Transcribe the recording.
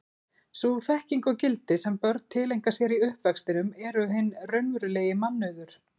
Sú þekking og gildi sem börn tileinka sér í uppvextinum eru hinn raunverulegi mannauður.